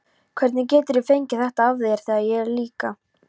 Hvernig geturðu fengið þetta af þér, þegar ég er líka.